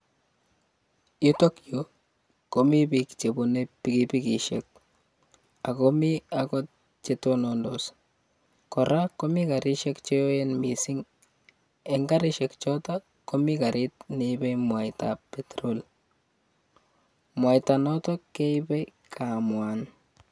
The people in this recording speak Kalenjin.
Yutok yu komi biik chebune pikipikisiek ago mi agot che tonondos. Kora komi karisiek cheoen mising. Eng karisiek choto komi karit neipe mwaitab Petrol. Mwaita notok, keipe kamwan